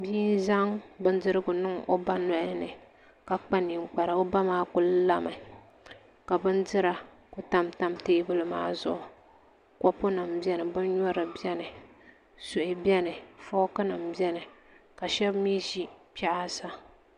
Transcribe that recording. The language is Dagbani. Bia n zaŋ bindirigu niŋ o ba nolini ka kpa ninkpara o ba maa ku lami ka bindira ku tamtam teebuli maa zuɣu kopu nim biɛni bin nyurili biɛni suhi biɛni fooki nim biɛni ka shab mii ʒi kpɛ ha sa